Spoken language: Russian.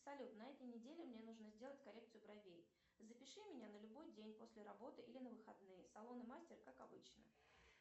салют на этой неделе мне нужно сделать коррекцию бровей запиши меня на любой день после работы или на выходные салон и мастер как обычно